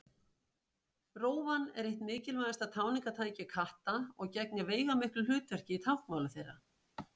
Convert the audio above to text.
Rófan er eitt mikilvægasta tjáningartæki katta og gegnir veigamiklu hlutverki í táknmáli þeirra.